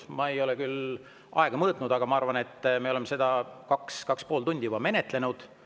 Ma ei ole küll aega mõõtnud, aga ma arvan, et me oleme seda juba 2–2,5 tundi menetlenud.